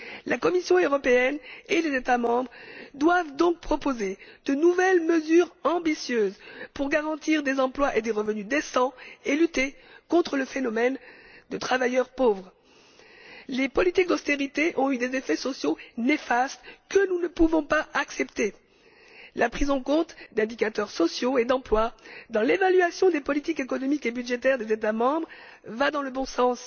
La Commission européenne et les États membres doivent donc proposer de nouvelles mesures ambitieuses pour garantir des emplois et des revenus décents et lutter contre le phénomène des travailleurs pauvres. Les politiques d'austérité ont eu des effets sociaux néfastes, que nous ne pouvons pas accepter. La prise en compte d'indicateurs sociaux et d'emploi dans l'évaluation des politiques économiques et budgétaires des États membres va dans le bon sens,